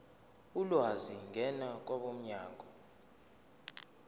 ulwazi ngena kwabomnyango